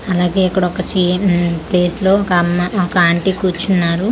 అలాగే ఇక్కడ ఒక చి మ్మ్ ప్లేస్ లో ఒక అమ్మ ఒక ఆంటీ కూర్చున్నారు.